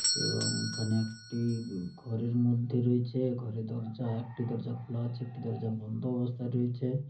এবং এখানে একটি ঘরের মধ্যে রয়েছে ঘরে দরজা একটি দরজা খোলা আছে একটি দরজা বন্ধ অবস্থায় রয়েছে ।